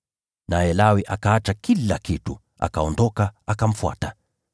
Naye Lawi akaacha kila kitu, akaondoka, akamfuata.